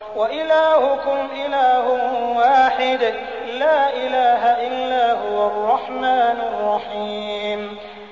وَإِلَٰهُكُمْ إِلَٰهٌ وَاحِدٌ ۖ لَّا إِلَٰهَ إِلَّا هُوَ الرَّحْمَٰنُ الرَّحِيمُ